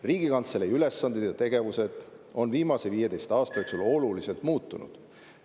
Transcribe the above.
Riigikantselei ülesanded ja tegevus on viimase 15 aasta jooksul oluliselt muutunud.